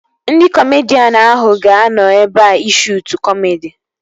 Ndị kọmedian ahụ ga-anọ ebea ị shuutu kọmedi